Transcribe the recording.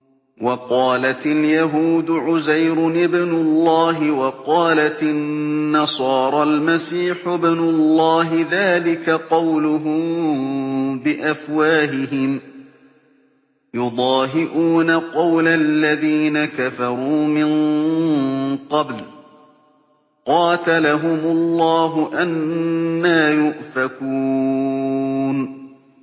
وَقَالَتِ الْيَهُودُ عُزَيْرٌ ابْنُ اللَّهِ وَقَالَتِ النَّصَارَى الْمَسِيحُ ابْنُ اللَّهِ ۖ ذَٰلِكَ قَوْلُهُم بِأَفْوَاهِهِمْ ۖ يُضَاهِئُونَ قَوْلَ الَّذِينَ كَفَرُوا مِن قَبْلُ ۚ قَاتَلَهُمُ اللَّهُ ۚ أَنَّىٰ يُؤْفَكُونَ